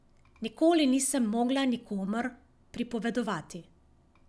Nikoli nisem mogla nikomur pripovedovati.